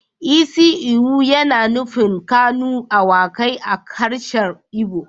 Isi ewu yana nufin kanu awakai a harshen igbo